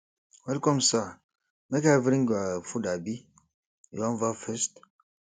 welcome sir make i bring your food abi you wan baff first